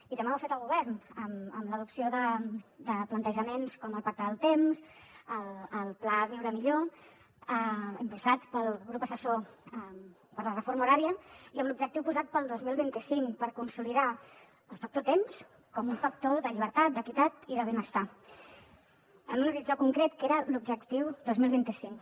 i també ho ha fet el govern amb l’adopció de plantejaments com el pacte del temps el pla viure millor impulsats pel consell assessor per a la reforma horària i amb l’objectiu posat en el dos mil vint cinc per consolidar el factor temps com un factor de llibertat d’equitat i de benestar en un horitzó concret que era l’objectiu dos mil vint cinc